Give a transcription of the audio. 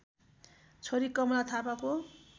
छोरी कमला थापाको